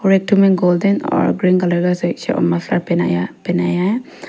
और एक ठो में गोल्डन और ग्रीन कलर का पह पहनाया है।